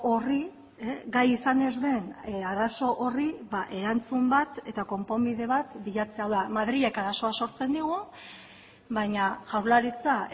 horri gai izan ez den arazo horri erantzun bat eta konponbide bat bilatzea hau da madrilek arazoa sortzen digu baina jaurlaritza